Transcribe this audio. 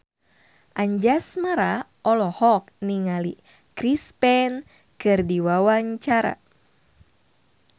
Anjasmara olohok ningali Chris Pane keur diwawancara